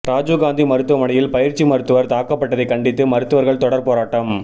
ராஜிவ்காந்தி மருத்துவமனையில் பயிற்சி மருத்துவர் தாக்கப்பட்டதை கண்டித்து மருத்துவர்கள் தொடர் போராட்டம்